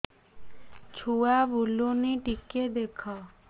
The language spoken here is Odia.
ଛୁଆ ବୁଲୁନି ଟିକେ ଦେଖ